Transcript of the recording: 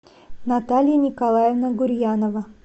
наталья николаевна гурьянова